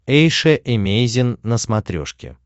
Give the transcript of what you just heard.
эйша эмейзин на смотрешке